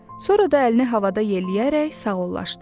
Sonra da əlini havada yelləyərək sağollaşdı.